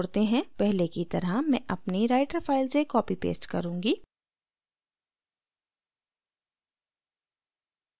पहले की तरह मैं अपनी writer फाइल से copypaste करुँगी